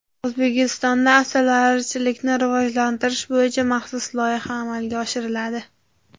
O‘zbekistonda asalarichilikni rivojlantirish bo‘yicha maxsus loyiha amalga oshiriladi.